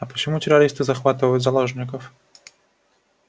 а почему террористы захватывают заложников